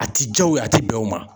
A ti jaa o ye a ti bɛn o ma.